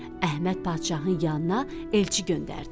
Əhməd padşahın yanına elçi göndərdi.